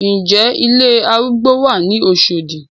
Ǹ jẹ́ ilé arúgbó wà ní Oṣọ̀dì?